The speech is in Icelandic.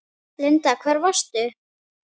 Linda: Hvar varstu?